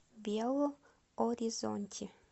белу оризонти